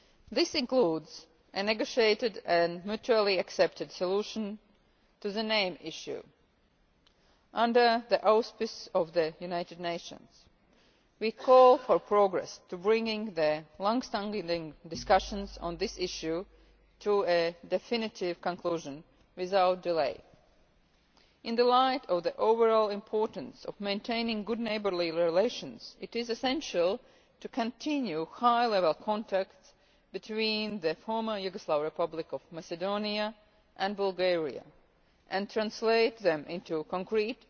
This includes a negotiated and mutually accepted solution to the name issue, under the auspices of the United Nations. We call for progress towards bringing the longstanding discussions on this issue to a definitive conclusion without delay. In the light of the overall importance of maintaining good neighbourly relations, it is essential to continue high-level contacts between the former Yugoslav Republic of Macedonia and Bulgaria, and to translate them into concrete